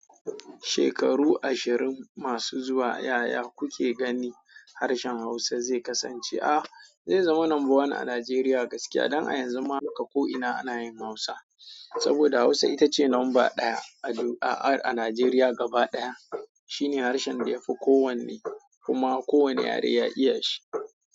Shekaru ashirin masu zuwa, yaya kuke ganin harshen Hausa zai kasance? A zai zama number one a Najeriya gaskiya don a yanzu ma haka ko'ina ana yin Hausa. Saboda Hausa ita ce lamba ɗaya a Najeriya gaba ɗaya. Shine harshen da ya fi kowanne, kuma kowane yare ya iya shi.